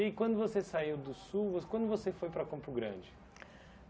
E quando você saiu do Sul vo, quando você foi para Campo Grande?